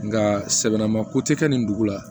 Nka sɛbana ma ko tɛ kɛ nin dugu la